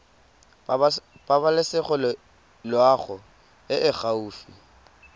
pabalesego loago e e gaufi